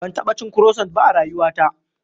Ban taɓa cin kurosant ba a rayuwata.